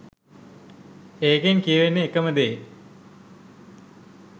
ඒකෙන් කියවෙන එකම දේ